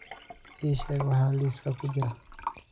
ii sheeg waxa liiska ku jira